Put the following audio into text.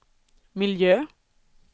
miljö